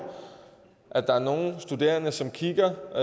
at der er nogle studerende som kigger